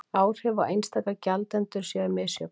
Áhrif á einstaka gjaldendur séu misjöfn